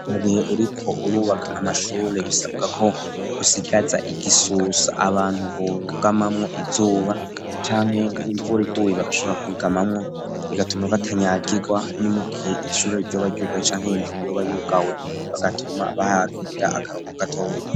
Mu gihe uriko urubaka amashure bisabwa ko usigaza igisusa abantu bugamamwo izuba canke imvura iguye bagashobora kwugamamwo, bigatuma batanyagirwa no mu gihe ishuri ryoba ryugaye canke nk'inzu yoba yugawe, bigatuma bahagirira akaruhuko gatoya.